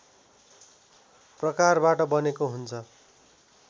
प्रकारबाट बनेको हुन्छ